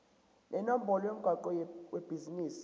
nenombolo yomgwaqo webhizinisi